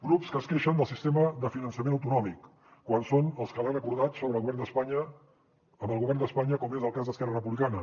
grups que es queixen del sistema de finançament autonòmic quan són els que l’han acordat sobre el govern d’espanya amb el govern d’espanya com és el cas d’esquerra republicana